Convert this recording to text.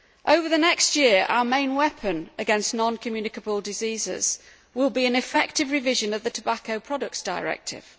Over the next year, our main weapon against non communicable diseases will be an effective revision of the Tobacco Products Directive.